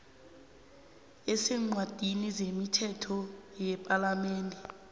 eseencwadini zemithetho yepalamende